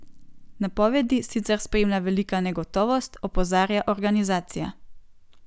Napovedi sicer spremlja velika negotovost, opozarja organizacija.